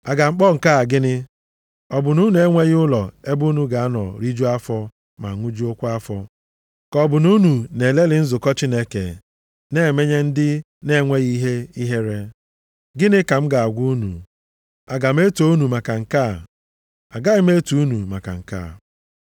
A ga-akpọ nke a gịnị? Ọ bụ na unu enweghị ụlọ ebe unu ga-anọ rijuo afọ ma ṅụjuokwa afọ? Ka ọ bụ na unu na-elelị nzukọ Chineke na emenye ndị na-enweghị ihe ihere? Gịnị ka m ga-agwa unu? Aga m eto unu maka nke a? Agaghị m eto unu maka nke a.